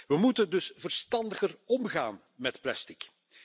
We moeten dus verstandiger omgaan met plastic.